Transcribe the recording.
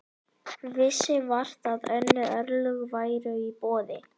Vissi vart að önnur örlög væru í boði.